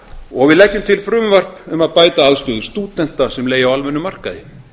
og við leggjum til frumvarp um að bæta aðstöðu stúdenta sem leigja á almennum markaði